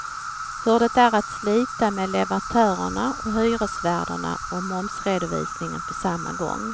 Hur det är att slita med leverantörerna och hyresvärden och momsredovisningen på samma gång.